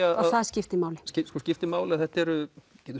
og það skiptir máli skiptir máli að þetta eru